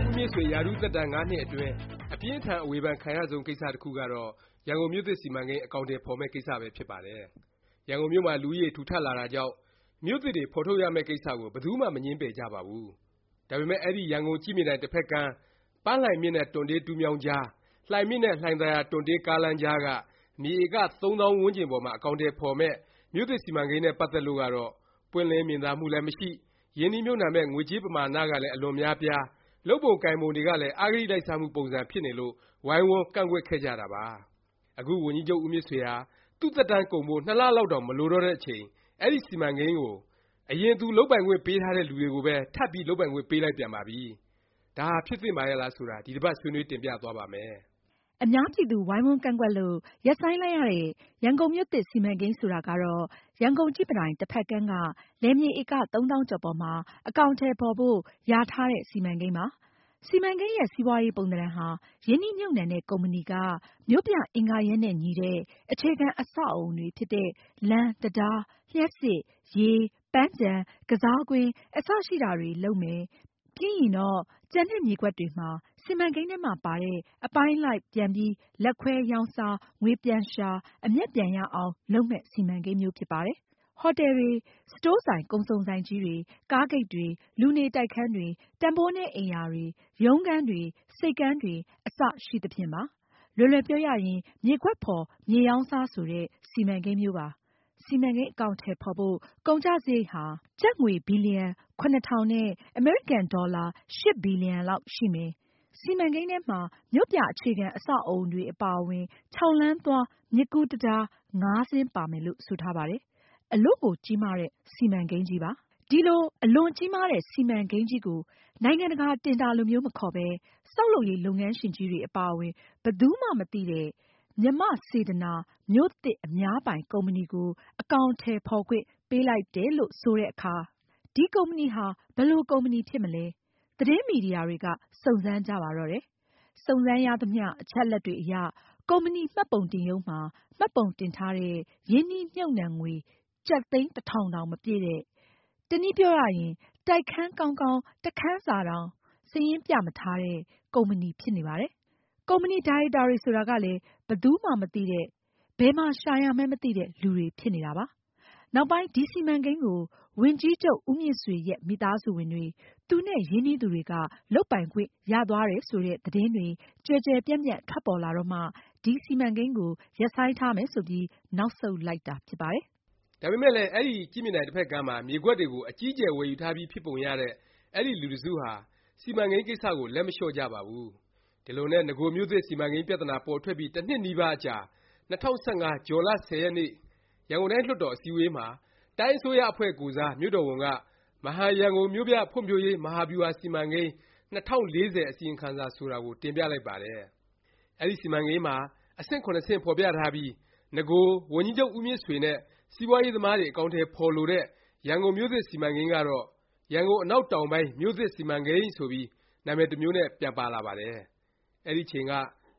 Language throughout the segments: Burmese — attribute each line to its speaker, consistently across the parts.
Speaker 1: ် ဦးမြင့်ဆွေ ရာထူးသက်တန်း ၅ နှစ်အတွင်း အပြင်းအထန် အဝေဖန်ခံရဆုံး ကိစ္စတစ်ခုကတော့ ရန်ကုန်မြို့သစ် စီမံကိန်း အကောင်အထည် ဖော်မယ့် ကိစ္စပဲ ဖြစ်ပါတယ်။ ရန်ကုန်မြို့မှာ လူဦးရေ ထူထပ်လာတာကြောင့် မြို့သစ်တွေ ဖော်ထုတ်ရမယ့်ကိစ္စကို ဘယ်သူမှ မငြင်းပယ်ကြပါဘူး။ ဒါပေမယ့် အဲဒီ ရန်ကုန် ကြည့်မြင်တိုင် တစ်ဖက်ကမ်း ပန်းလှိုင်မြစ်နဲ့ တွံတေးတူးမြောင်းကြား၊ လှိုင်မြစ်နဲ့ လှိုင်သာယာ တွံတေးကားလမ်းကြားက မြေဧက ၃ သောင်းဝန်းကျင်ပေါ်မှာ အကောင်အထည် ဖော်မယ့် မြို့သစ် စီမံကိန်း နဲ့ ပတ်သက်လို့ကတော့ ပွင့်လင်းမြင်သာမှုလည်း မရှိ၊ ရင်းနှီးမြှုပ်နှံမယ့် ငွေကြေးပမာဏ ကလည်း အလွန်များပြား၊ လုပ်ပုံကိုင်ပုံတွေကလည်း အဂတိလိုက်စားမှု ပုံစံဖြစ်နေလို့ ဝိုင်းဝန်း ကန့်ကွက်ခဲ့ကြတာပါ။ အခု ဝန်ကြီးချုပ် ဦးမြင့်ဆွေဟာ သူ့သက်တန်းကုန်ဖို့ နှစ်လ လောက်တောင် မလိုတော့တဲ့အချိန် အဲဒီ စီမံကိန်းကို အရင်သူ လုပ်ပိုင်ခွင့်ပေးထားတဲ့ လူတွေကိုပဲ ထပ်ပြီး လုပ်ပိုင်ခွင့် ပေးလိုက်ပြန်ပါပြီ။ ဒါဟာ ဖြစ်သင့်ပါရဲ့လား ဆိုတာ ဒီတစ်ပါတ် ဆွေးနွေး တင်ပြသွားပါ့မယ်။
Speaker 2: အများပြည်သူ ဝိုင်းဝန်းကန့်ကွက်လို့ ရပ်ဆိုင်းလိုက်ရတဲ့ ရန်ကုန်မြို့သစ် စီမံကိန်း ဆိုတာကတော့ ရန်ကုန် ကြည့်မြင်တိုင် တစ်ဖက်ကမ်း က လယ်မြေ ဧက ၃ သောင်းကျော် ပေါ်မှာ အကောင်အထည် ဖော်ဖို့ လျာထားတဲ့ စီမံကိန်းပါ။ စီမံကိန်းရဲ့ စီးပွားရေး ပုံသဏ္ဍာန်ဟာ ရင်းနှီးမြှုပ်နှံတဲ့ ကုမ္ပဏီက မြို့ပြအင်္ဂါရပ်နဲ့ ညီတဲ့ အခြေခံ အဆောက်အဦ Infrastructure တွေဖြစ်တဲ့ လမ်း၊ တံတား၊ လျှပ်စစ်၊ ရေ၊ ပန်းခြံ၊ ကစားကွင်း အစရှိတာတွေ လုပ်မယ်။ ပြီးရင်တော့ ကျန်တဲ့ မြေကွက်တွေမှာ စီမံကိန်းထဲပါတဲ့ အပိုင်းအလိုက် ပြန်ပြီး လက်ခွဲရောင်းစား ငွေပြန်ရှာ အမြတ်ပြန်ရအောင် လုပ်မယ့် စီမံကိန်းမျိုး ဖြစ်ပါတယ်။ ဟော်တယ်တွေ၊ စတိုးဆိုင် ကုန်စုံဆိုင်ကြီးတွေ၊ ကားဂိတ်တွေ၊ လူနေ တိုက်ခန်းတွေ၊ တန်ဘိုးနည်း အိမ်ယာတွေ၊ ရုံးခန်းတွေ၊ ဆိပ်ကမ်းတွေ အစရှိသဖြင့်ပါ။ လွယ်လွယ်ပြောရရင် မြေကွက်ဖော် မြေရောင်းစား ဆိုတဲ့ စီမံကိန်းမျိုးပါ။ စီမံကိန်း အကောင်အထည် ဖော်ဖို့ ကုန်ကျစရိတ်ဟာ ကျပ် ဘီလျံ ၇၀၀၀ နဲ့ အမေရိကန် ဒေါ်လာ ၈ ဘီလျံရှိမယ်၊ စီမံကိန်းထဲမှာ မြို့ပြ အခြေခံ အဆောက်အဦတွေ အပါအဝင် ၆ လမ်းသွား မြစ်ကူးတံတား စင်းပါမယ် လို့ ဆိုထားပါတယ်။ အလွန်ကြီးမားတဲ့ စီမံကိန်းကြီးပါ။ ဒီ အလွန်ကြီးမားတဲ့ စီမံကိန်းကြီးကို နိုင်ငံတကာ တင်ဒါလိုမျိုး မခေါ်ပဲ ဆောက်လုပ်ရေး လုပ်ငန်းရှင်ကြီးတွေ အပါအဝင် ဘယ်သူမှ မသိတဲ့ “မြန်မာ့စေတနာ မြို့သစ် အများပိုင် ကုမ္ပဏီ”ကို အကောင်အထည်ဖော်ခွင့် ပေးလိုက်တယ်လို့ ဆိုတဲ့အခါ ဒီ ကုမ္ပဏီဟာ ဘယ်လို ကုမ္ပဏီဖြစ်မလဲ သတင်းမီဒီယာတွေက စုံစမ်းကြပါတော့တယ်။ စုံစမ်းရသမျှ အချက်အလက်တွေအရ ကုမ္ပဏီ မှတ်ပုံတင်ရုံးမှာ မှတ်ပုံတင်ထားတဲ့ ရင်းနှီးမြှုပ်နှံငွေဟာ ကျပ် သိန်း တစ်ထောင်တောင် မပြည့်တဲ့၊ တစ်နည်း တိုက်ခန်းကောင်းကောင်း တစ်ခန်းစာတောင် စာရင်း ပြမထားတဲ့ ကုမ္ပဏီဖြစ်နေပါတယ်။ ကုမ္ပဏီဒါရိုက်တာတွေ ဆိုတာကလည်း ဘယ်သူမှ မသိတဲ့၊ ဘယ်မှာ ရှာရမှန်းမသိတဲ့ လူတွေဖြစ်နေတာပါ။ နောက်ပိုင်း ဒီစီမံကိန်းကို ဝန်ကြီးချုပ်ဦးမြင့်ဆွေရဲ့ မိသားစုဝင်တွေ၊ သူနဲ့ ရင်းနှီးသူတွေက လုပ်ပိုင်ခွင့်ရသွားတယ် ဆိုတဲ့ သတင်းတွေ ကျယ်ကျယ်ပြန့်ပြန့် ထွက်ပေါ်လာတော့မှ စီမံကိန်းကို ရပ်ဆိုင်းထားမယ် ဆိုပြီး နောက်ဆုတ်လိုက်တာ ဖြစ်ပါတယ်
Speaker 1: ။ ဒါပေမယ့်လည်း အဲဒီ ကြည့်မြင်တိုင် တစ်ဖက်ကမ်းမှာ မြေကွက်တွေကို အကြီးအကျယ် ဝယ်ယူထားပြီး ဖြစ်ပုံရတဲ့ အဲဒီ လူတစ်စုဟာ စီမံကိန်း ကိစ္စကို လက်မလျော့ကြပါဘူး။ ဒီလိုနဲ့ နဂို မြို့သစ် စီမံကိန်းပြသနာ ပေါ်ထွက်ပြီး တစ်နှစ်နီးပါးအကြာ ၂၀၁၅ ဇွန်လ ၁၀ ရက်နေ့ ရန်ကုန်တိုင်း လွှတ်တော် အစည်းအဝေးမှာ တိုင်းအစိုးရ အဖွဲ့ကိုယ်စား မြို့တော်ဝန်က “မဟာရန်ကုန်မြို့ပြဖွံ့ဖြိုးရေး မဟာဗျူဟာ စီမံကိန်း ၂၀၄၀ အစီရင်ခံစာ ” ဆိုတာကို တင်ပြလိုက်ပါတယ်။ အဲဒီ စီမံကိန်းမှာ အဆင့် ဆင့် ဖော်ပြထားပြီး နဂို ဝန်ကြီးချုပ် ဦးမြင့်ဆွေနဲ့ စီးပွားရေး သမားတွေ အကောင်အထည် ဖော်လိုတဲ့ ရန်ကုန်မြို့သစ် စီမံကိန်းကတော့ “ရန်ကုန် အနောက်တောင်ပိုင်း မြို့သစ် စီမံကိန်း” ဆိုပြီး နာမည်တစ်မျိုးနဲ့ ပြန်ပါလာပါတယ်။ အဲဒီအချိန်က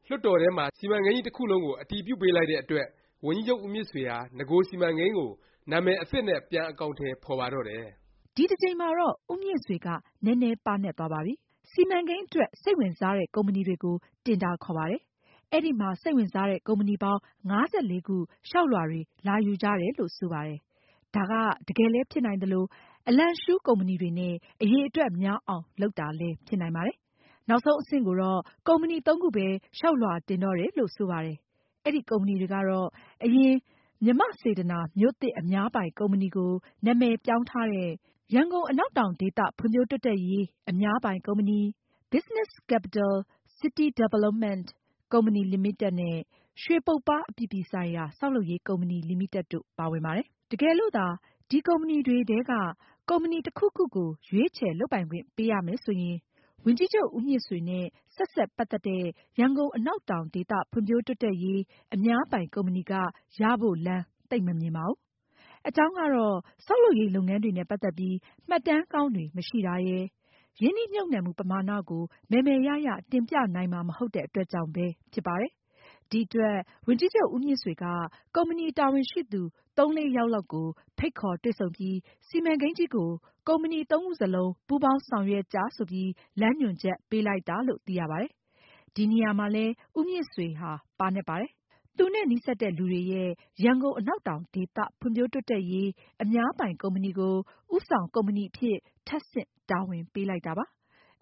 Speaker 1: လွှတ်တော်ထဲမှာ စီမံကိန်းကြီး တစ်ခုလုံးကို အတည်ပြုပေးလိုက်တဲ့ အတွက် ဝန်ကြီးချုပ် ဦးမြင့်ဆွေဟာ နဂို စီမံကိန်းကို နာမည် အသစ်နဲ့ ပြန်အကောင်အထည် ဖော်ပါတော့တယ်
Speaker 2: ။ ဒီတစ်ကြိမ်မှာတော့ ဦးမြင့်ဆွေက နည်းနည်းပါးနပ်သွားပါပြီ။ စီမံကိန်းအတွက် စိတ်ဝင်စားတဲ့ ကုမ္ပဏီတွေကို တင်ဒါခေါ်ပါတယ်။ အဲဒီမှာ စိတ်ဝင်စားတဲ့ ကုမ္ပဏီပေါင်း ၅၄ ခု လျောက်လွှာတွေ လာယူကြတယ်လို့ ဆိုပါတယ်။ ဒါက တကယ်လည်း ဖြစ်နိုင်သလို အလံရှူးကုမ္ပဏီတွေနဲ့ အရည်အတွက် များအောင် လုပ်တာလည်း ဖြစ်နိုင်ပါတယ်။ နောက်ဆုံးအဆင့် ကိုတော့ ကုမ္ပဏီ သုံးခုပဲ လျောက်လွှာတင်တော့တယ်လို့ ဆိုပါတယ်။ အဲဒီ ကုမ္ပဏီတွေကတော့ အရင် “မြန်မာ့စေတနာ မြို့သစ် အများပိုင် ကုမ္ပဏီ”ကို နာမည်ပြောင်းထားတဲ့ ရန်ကုန် အနောက်တောင် ဒေသ ဖွံ့ဖြိုးတိုးတက်ရေး အများပိုင် ကုမ္ပဏီ၊ Business Capital City Development Co.,ltd နဲ့ ရွှေပုပ္ပါး အပြည်ပြည်ဆိုင်ရာ ဆောက်လုပ်ရေး ကုမ္ပဏီ လီမိတက်တို့ ပါဝင်ပါတယ်။ တကယ်လို့သာ ဒီ ကုမ္ပဏီတွေထဲက ကုမ္ပဏီ တစ်ခုခုကို ရွေးချယ် လုပ်ပိုင်ခွင့်ပေးရမယ် ဆိုရင် ဝန်ကြီးချုပ်ဦးမြင့်ဆွေနဲ့ ဆက်စပ်ပတ်သက်တဲ့ ရန်ကုန် အနောက်တောင် ဒေသ ဖွံ့ဖြိုးတိုးတက်ရေး အများပိုင် ကုမ္ပဏီ က ရဖို့ လမ်း သိပ်မမြင်ပါဘူး။ အကြောင်းကတော့ ဆောက်လုပ်ရေး လုပ်ငန်းတွေနဲ့ ပတ်သက်ပြီး မှတ်တမ်းကောင်းတွေ မရှိတာရယ်၊ ရင်းနှီးမြှုပ်နှံမှု ပမာဏ ကို မယ်မယ်ရရ တင်ပြနိုင်မှာ မဟုတ်တဲ့ အတွက်ကြောင့်ပဲ ဖြစ်ပါတယ်။ ဒီအတွက် ဝန်ကြီးချုပ် ဦးမြင့်ဆွေက ကုမ္ပဏီ တာဝန်ရှိသူ သုံးလေးယောက်လောက်ကို ဖိတ်ခေါ် တွေ့ဆုံပြီး စီမံကိန်းကြီးကို ကုမ္ပဏီ သုံးခုစလုံး ပူးပေါင်း ဆောင်ရွက်ကြ ဆိုပြီး လမ်းညွှန်ချက် ပေးလိုက်တယ်လို့ သိရပါတယ်။ ဒီနေရာမှာလည်း ဦးမြင့်ဆွေဟာ ပါးနပ်ပါတယ်။ သူနဲ့ နီးစပ်တဲ့လူတွေရဲ့ “ရန်ကုန် အနောက်တောင် ဒေသ ဖွံ့ဖြိုးတိုးတက်ရေး အများပိုင် ကုမ္ပဏီ” ကို ဦးဆောင် ကုမ္ပဏီအဖြစ် ထပ်ဆင့် တာဝန်ပေးလိုက်တာပါ။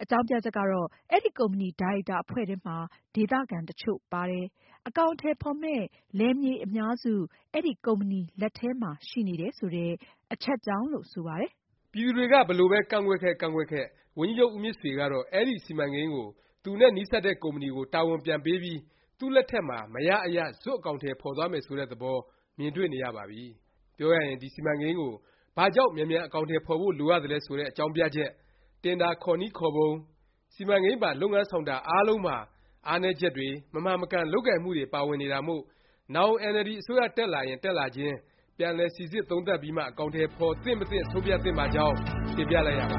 Speaker 2: အကြောင်းပြချက်ကတော့ အဲဒီ ကုမ္ပဏီ ဒါရိုက်တာ အဖွဲ့ထဲမှာ ဒေသခံ တစ်ချို့ပါတယ်၊ အကောင်အထည် ဖော်မယ့် လယ်မြေ အများစု အဲဒီ ကုမ္ပဏီ လက်ထဲမှာ ရှိနေတယ် ဆိုတဲ့ အချက်ကြောင့်လို့ ဆိုပါတယ်
Speaker 1: ။ ပြည်သူတွေက ဘယ်လိုပဲ ကန့်ကွက်ခဲ့၊ ကန့်ကွက်ခဲ့၊ ဝန်ကြီးချုပ် ဦးမြင့်ဆွေကတော့ အဲဒီ စီမံကိန်းကို သူနဲ့ နီးစပ်တဲ့ ကုမ္ပဏီကို တာဝန်ပြန်ပေးပြီး သူ့လက်ထက်မှာ မရ အရ ဇွတ် အကောင်အထည် ဖော်သွားမယ် ဆိုတဲ့ သဘော မြင်တွေ့နေရပါပြီ။ ပြောရရင် ဒီ စီမံကိန်း ကို ဘာကြောင့် မြန်မြန် အကောင်အထည် ဖော်ဖို့ လိုရသလဲ ဆိုတဲ့ အကြောင်းပြချက်၊ တင်ဒါ ခေါ်နည်း ခေါ်ပုံ၊ စီမံကိန်းပါ လုပ်ငန်း ဆောင်တာ အားလုံးမှာ အားနည်းချက်တွေ၊ မမှန်မကန် လုပ်ကိုင်မှုတွေ ပါဝင်နေတာမို့ နောင် NLD အစိုးရ တက်လာရင် တက်လာလာခြင်း ပြန်လည် စိစစ်၊ သုံးသပ် ပြီးမှ အကောင်ထည် ဖော် သင့်မသင့် ဆုံးဖြတ်သင့်ပါကြောင်း တင်ပြလိုက်ရပါ